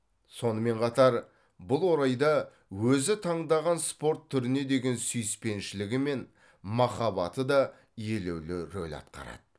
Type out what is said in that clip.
сонымен қатар бұл орайда өзі таңдаған спорт түріне деген сүйіспеншілігі мен махаббаты да елеулі рөл атқарады